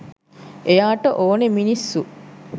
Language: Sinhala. එයාට ඕනෙ මිනිස්සු